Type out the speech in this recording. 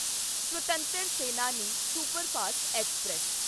Swatantra Senani superfast express